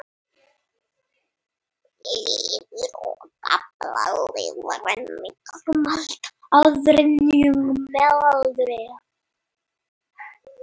Lifur og gallblaðra Lifrin minnkar um allt að þriðjung með aldri.